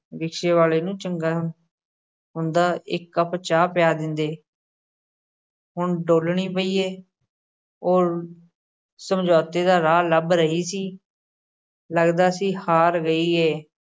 ਰਿਕਸ਼ੇ ਵਾਲ਼ੇ ਨੂੰ ਚੰਗਾ ਹੁੰਦਾ, ਇੱਕ ਕੱਪ ਚਾਹ ਪਿਆ ਦਿੰਦੇ ਹੁਣ ਡੋਲ੍ਹਣੀ ਪਈ ਏ, ਉਹ ਸਮਝੌਤੇ ਦਾ ਰਾਹ ਲੱਭ ਰਹੀ ਸੀ ਲੱਗਦਾ ਸੀ ਹਾਰ ਗਈ ਏ।